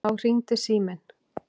Þá hringdi síminn.